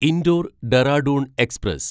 Indore Dehradun express